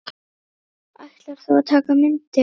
Ætlar þú að taka myndir?